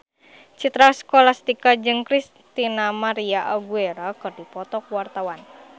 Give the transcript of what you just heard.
Citra Scholastika jeung Christina María Aguilera keur dipoto ku wartawan